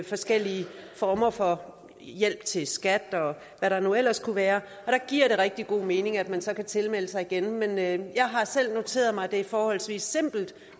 forskellige former for hjælp til skat og hvad der nu ellers kunne være og der giver det rigtig god mening at man så kan tilmelde sig igen men jeg har selv noteret mig at det er forholdsvis simpelt